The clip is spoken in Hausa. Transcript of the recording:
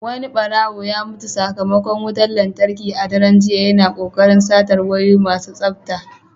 Wani ɓarawo ya mutu sakamakon wutar lantarki a daren jiya, yana kokarin satar wayoyi masu tsafta.